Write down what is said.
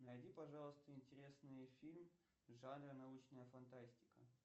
найди пожалуйста интересный фильм в жанре научная фантастика